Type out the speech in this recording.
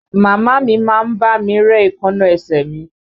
Màmá a mi má ń bá mi ré èékánná ẹsẹ̀ mi